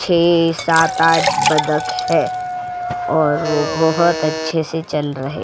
छे सात आठ बदक है और वो बहोत अच्छे से चल रहे --